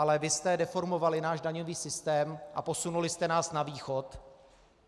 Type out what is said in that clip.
Ale vy jste deformovali náš daňový systém a posunuli jste nás na Východ.